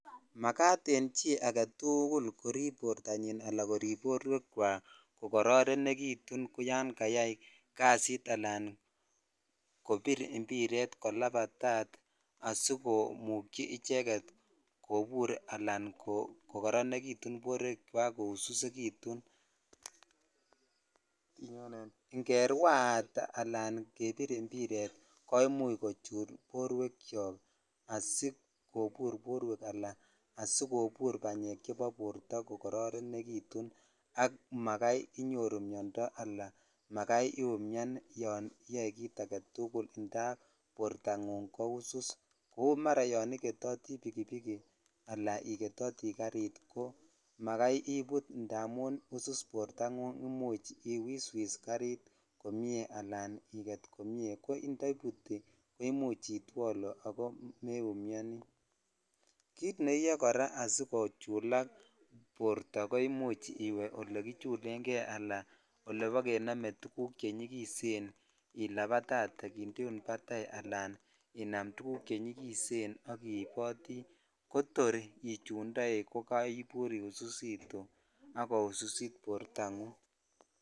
Makat en chii aketugul korip bortanyin ala korip borwek chwak kokororonekitun yan kayai kasit ala kobir ibiret kolabatat asikomujyi icheket kobur al kokoronetun borwek chwak koususekitun ingeraat alan kebir ibiret koimuch kochul borwek choko asikobur borwek ala sikochulak kokororonekitun ak makai inyoru miondoo ala makai iumian yon iyoe kit aketul indap bortangung ko usus kou mara yon igetotii bikibik ala ikemgetotii ko garit ko makai ibut indamun usus bortangung imuch iwiswis garit komie ko indaibuti ko imuch itwolu ako meiumioni jit neiyoe kora sikochulak borto ko imuch iwe ole kichulen jei ala olekinone tuguk che nyikisen ilabatatee kindeun tuguk chenyikisen ak kindeun batai alan inam tuguk chenyikisen ak iboti ko tor ichutoi ko kaibur iususitu ak koususit bortangung.